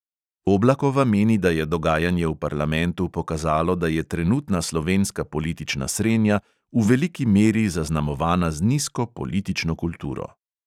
Oblakova meni, da je dogajanje v parlamentu pokazalo, da je trenutna slovenska politična srenja v veliki meri zaznamovana z nizko politično kulturo.